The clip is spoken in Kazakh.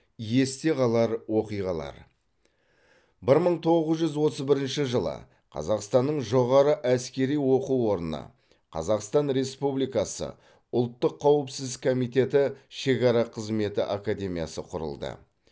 есте қалар оқиғалар бір мың тоғыз жүз отыз бірінші жылы қазақстанның жоғары әскери оқу орны қазақстан республикасы ұлттық қауіпсіздік комитеті шекара қызметі академиясы құрылды